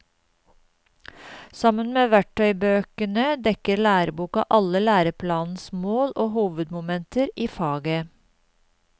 Sammen med verktøybøkene dekker læreboka alle læreplanens mål og hovedmomenter i faget.